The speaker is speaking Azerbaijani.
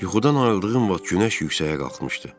Yuxudan ayıldığım vaxt günəş yuxarı qalxmışdı.